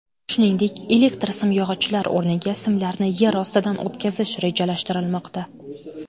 Shuningdek elektr simyog‘ochlar o‘rniga simlarni yer ostidan o‘tkazish rejalashtirilmoqda.